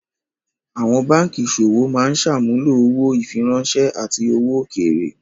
Àwọn báńkì ìṣòwò máa ń ṣàmúlò owó, ìfiráńṣẹ́, àti owó òkèèrè.